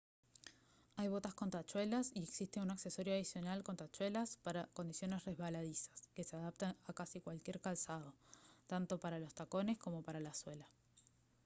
hay botas con tachuelas y existe un accesorio adicional con tachuelas para condiciones resbaladizas que se adapta a casi cualquier calzado tanto para los tacones como para la suela